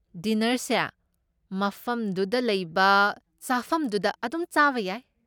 ꯗꯤꯅꯔꯁꯦ ꯃꯐꯝꯗꯨꯗ ꯂꯩꯕ ꯆꯐꯝꯗꯨꯗ ꯑꯗꯨꯝ ꯆꯥꯕ ꯌꯥꯏ꯫